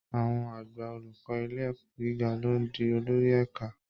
Àwọn àgbà olùkọ́ ilé ẹ̀kọ́ gíga ló ń di olórí ẹ̀ka